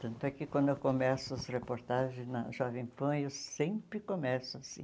Tanto é que quando eu começo as reportagens na Jovem Pan, eu sempre começo assim.